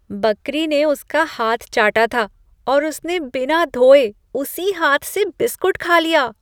बकरी ने उसका हाथ चाटा था, और उसने बिना धोए उसी हाथ से बिस्कुट खा लिया।